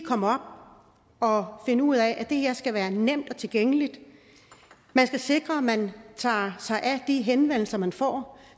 komme op og finde ud af at det her skal være nemt og tilgængeligt man skal sikre at man tager sig af de her henvendelser man får